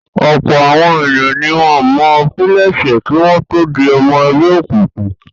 Ọ̀pọ̀ àwọn ènìyàn ni wọ́n pilẹ̀sẹ̀ kí wọ́n tó di ọmọ ẹgbẹ́ òkùnkùn.